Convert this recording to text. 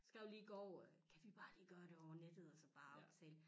Skrev lige i går at kan vi ikke lige bare gøre det over nettet og så bare aftale